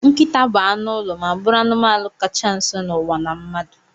Nkịta bu anụ ụlọ ma bụrụ anụmanụ kacha nso n'ụwa na mmadụ